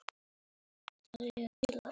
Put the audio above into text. Uppgjöf kom aldrei til greina.